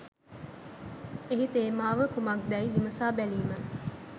එහි තේමාව කුමක්දැයි විමසා බැලීම